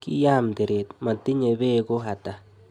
Kiyam teret, matinye beko ata?